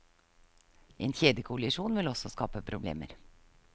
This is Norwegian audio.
En kjedekollisjon vil også skape problemer.